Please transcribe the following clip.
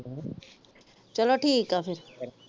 ਚਲੋ ਠੀਕਾ ਫਿਰ।